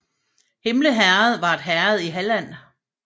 Himle Herred var et herred i Halland